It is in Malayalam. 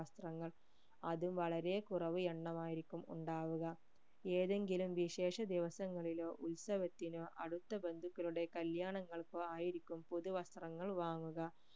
വസ്ത്രങ്ങൾ അത് വളരെ കുറവ് എണ്ണം ആയിരിക്കും ഉണ്ടാവുക ഏതെങ്കിലും വിശേഷ ദിവസങ്ങളിലോ ഉത്സവത്തിനോ അടുത്ത ബന്ധുക്കളുടെ കല്യാണങ്ങൾക്കോ ആയിരിക്കും പുതു വസ്ത്രങ്ങൾ വാങ്ങുക